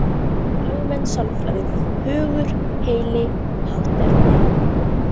Almenn sálfræði: Hugur, heili, hátterni.